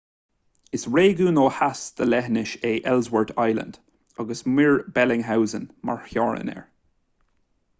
is réigiún ó theas den leithinis é ellsworth land agus muir bellingshausen mar theorainn air